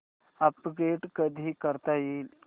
upgrade कधी करता येईल